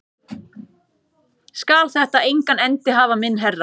Skal þetta engan endi hafa minn herra?